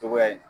Togoya in